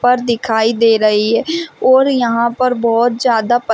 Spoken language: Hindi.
पर दिखाई दे रही है और यहां पर बहुत ज्यादा --